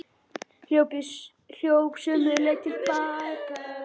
Hljóp sömu leið til baka.